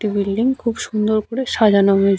একটি বিল্ডিং খুব সুন্দর করে সাজানো রয়ে--